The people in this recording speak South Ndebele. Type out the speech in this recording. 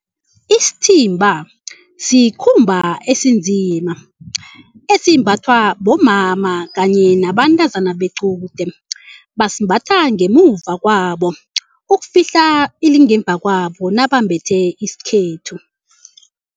Isithimba sikhumba esinzima esimbathwa bomama kanye nabantazana bequde. Basimbatha ngemuva kwabo ukufihla ilingemva kwabo nabambethe isikhethu.